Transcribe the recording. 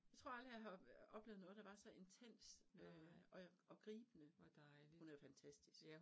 Jeg tror aldrig jeg har oplevet noget der var så intenst øh og og gribende. Hun er fantastisk